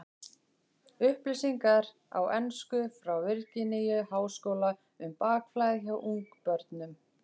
Upplýsingar á ensku frá Virginíu-háskóla um bakflæði hjá ungbörnum.